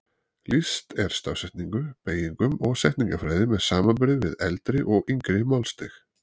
Lýst er stafsetningu, beygingum og setningafræði með samanburði við eldri og yngri málstig.